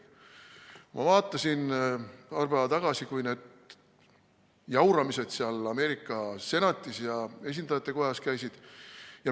Ma vaatasin paar päeva tagasi, kui need jauramised Ameerika senatis ja esindajatekojas käisid.